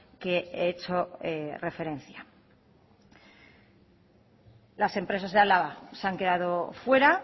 que he hecho referencia las empresas de álava se han quedado fuera